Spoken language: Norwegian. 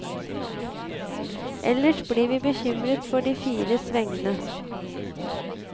Ellers blir vi bekymret på de fires vegne.